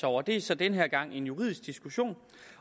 over det er så den her gang en juridisk diskussion